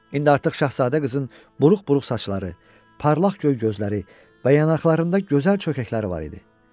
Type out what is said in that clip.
İndi artıq şahzadə qızın buruq-buruq saçları, parlaq göy gözləri və yanaqlarında gözəl çökəkləri var idi.